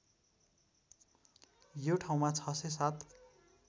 यो ठाउँमा ६०७